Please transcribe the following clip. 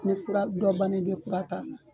Ni kura dɔ ban na i bɛ kura ta.